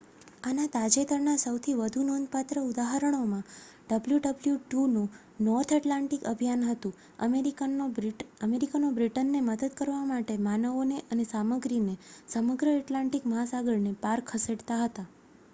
આના તાજેતરના સૌથી વધુ નોંધપાત્ર ઉદાહરણોમાં wwiiનું નૉર્થ ઍટ્લાન્ટિક અભિયાન હતું. અમેરિકનો બ્રિટનને મદદ કરવા માટે માનવોને અને સામગ્રીને સમગ્ર ઍટ્લાન્ટિક મહાસાગરને પાર ખસેડતાં હતાં